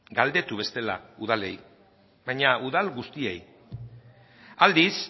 galdetu bestela udalei baina udal guztiei aldiz